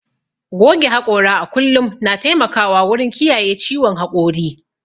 Goge haƙora a kullum na taimakawa wurin kiyaye ciwon haƙori.